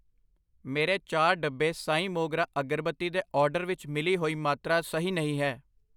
ਮੇਰੇ ਚਾਰ ਡੱਬੇ ਸਾਈਂ ਮੋਗਰਾ ਅਗਰਬੱਤੀ ਦੇ ਆਰਡਰ ਵਿੱਚ ਮਿਲੀ ਹੋਈ ਮਾਤਰਾ ਸਹੀ ਨਹੀਂ ਹੈ I